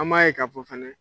An b'a ye k'a fɔ fana